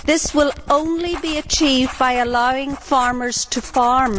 This will only be achieved by allowing farmers to farm.